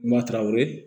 Mataraw